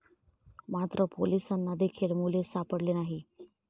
मात्र, पोलिसांना देखील मुले सापडली नाही.